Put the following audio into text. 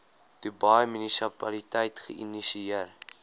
dubai munisipaliteit geïnisieer